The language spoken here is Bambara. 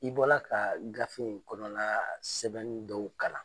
I bɔla ka gafe in kɔnɔna sɛbɛnni dɔw kalan.